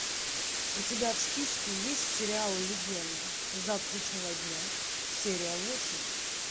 у тебя в списке есть сериал легенда завтрашнего дня серия восемь